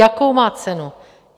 Jakou má cenu?